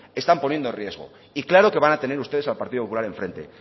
están poniendo en riesgo y claro que van a tener ustedes al partido popular enfrente